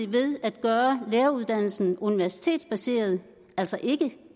ved at gøre læreruddannelsen universitetsbaseret altså ikke